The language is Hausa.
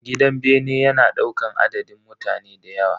Gidan bene yana daukan adadin mutane dayawa.